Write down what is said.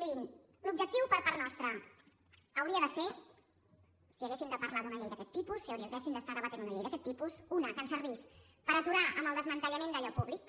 mirin l’objectiu per part nostra hauria de ser si haguéssim de parlar d’una llei d’aquest tipus si haguéssim d’estar debatent una llei d’aquest tipus una que ens servís per aturar el desmantellament d’allò públic